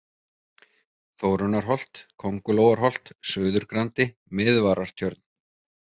Þórunnarholt, Kóngulóarholt, Suðurgrandi, Miðvarartjörn